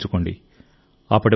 ఇది గుర్తుంచుకోండి